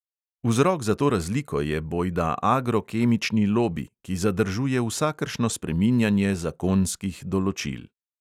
Vzrok za to razliko je bojda agro-kemični lobi, ki zadržuje vsakršno spreminjanje zakonskih določil.